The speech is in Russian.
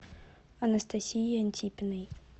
анастасией антипиной